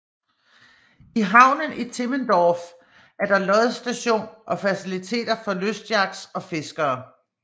I havnen i Timmendorf er der lodsstation og faciliteter for lystyachts og fiskere